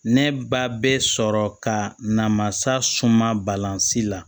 Ne ba bɛ sɔrɔ ka namasa suman balanzi la